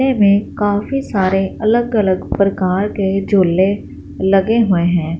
ले में काफी सारे अलग अलग प्रकार के झुके लगे हुए हैं।